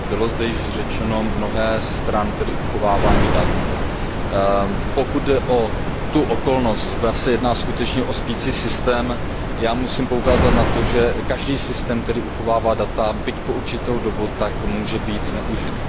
Bylo zde již řečeno mnohé stran uchovávání dat. Pokud jde o okolnost, zda se jedná skutečně o spící systém, musím poukázat na to, že každý systém, který uchovává data, byť po určitou dobu, může být zneužit.